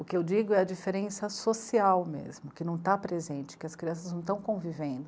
O que eu digo é a diferença social mesmo, que não está presente, que as crianças não estão convivendo.